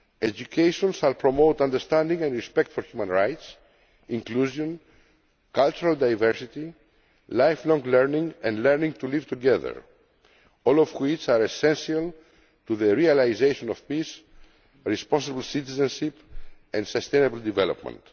Education shall promote understanding and respect for human rights, inclusion, cultural diversity, lifelong learning and learning to live together, all of which are essential to the realisation of peace, responsible citizenship and sustainable development.